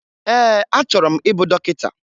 Ee, achọrọ m ịbụ dọkịta